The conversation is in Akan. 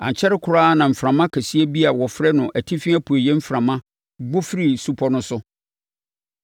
Ankyɛre koraa na mframa kɛseɛ bi a wɔfrɛ no “Atifi Apueeɛ Mframa” bɔ firii supɔ no so.